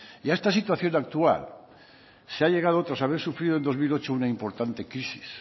y a esta situación actual se ha llegado tras haber sufrido en dos mil ocho una importante crisis